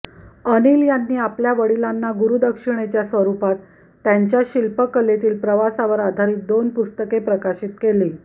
अनिल यांनी आपल्या वडिलांना गुरूदक्षिणेच्या स्वरूपात त्यांच्या शिल्पकेलेतील प्रवासावर आधारित दोन पुस्तक प्रकाशित केली